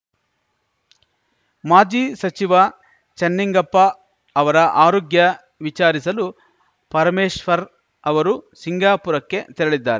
ಮಾಜಿ ಸಚಿವ ಚೆನ್ನಿಂಗಪ್ಪ ಅವರ ಆರೋಗ್ಯ ವಿಚಾರಿಸಲು ಪರಮೇಶ್ವರ್‌ ಅವರು ಸಿಂಗಾಪುರಕ್ಕೆ ತೆರಳಿದ್ದಾರೆ